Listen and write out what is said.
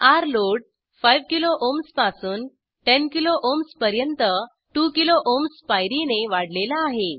र्लोड 5किलो ओएचएमएस पासून 10 kilo OHMS पर्यंत 2किलो ओएचएमएस पायरीने वाढलेला आहे